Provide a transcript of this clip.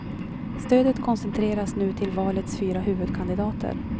Stödet koncentreras nu till valets fyra huvudkandidater.